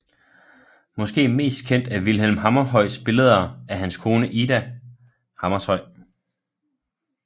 Måske mest kendt af Vilhelm Hammershøis billeder af hans kone Ida Hammershøi